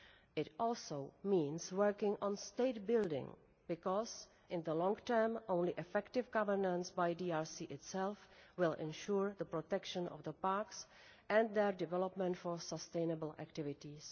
It also means working on state-building, because in the long term only effective governance by the DRC itself will ensure the protection of the parks and their development for sustainable activities.